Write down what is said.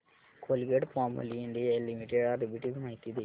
Colgate Palmolive India limited arbitrage माहिती दे